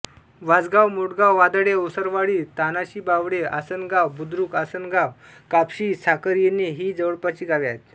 वासगाव मोठगाव वादडे ओसरवाडी तणाशीबावडेआसनगाव बुद्रुकआसनगाव कापशी साखरेऐने ही जवळपासची गावे आहेत